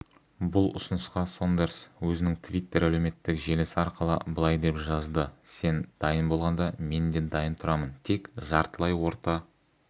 бұл ұсынысқа сондерс өзінің твиттер әлеуметтік желісі арқылы былай деп жазды сен дайын болғанда мен де дайын тұрамын тек жартылай орта